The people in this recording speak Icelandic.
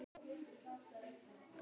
Pressunnar þar sem það óð elginn.